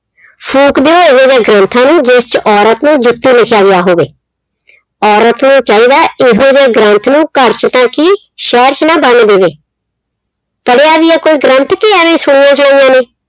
ਫੂਕ ਦਿਉ ਇਹੋ ਜਿਹੇ ਗ੍ਰੰਥਾਂ ਨੂੰ ਜਿਸ ਚ ਔਰਤ ਨੂੰ ਜੁੱਤੀ ਲਿਖਿਆ ਗਿਆ ਹੋਵੇ। ਔਰਤ ਨੂੰ ਚਾਹੀਦਾ ਇਹੋ ਜਿਹੇ ਗ੍ਰੰਥ ਨੂੰ ਘਰ ਚ ਤਾਂ ਕੀ ਸ਼ਹਿਰ ਚ ਨਾ ਵੜਨ ਦੇਵੇ ਪੜਿਆ ਵੀ ਆ ਕੋਈ ਗ੍ਰੰਥ ਕੇ ਐਵੇਂ ਸੁਣੀਆ-ਸੁਣਾਈਆਂ ਨੇ